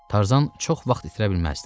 Tarzan çox vaxt itirə bilməzdi.